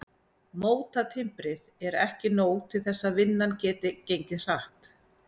Mótatimbrið er ekki nóg til þess að vinnan geti gengið hratt.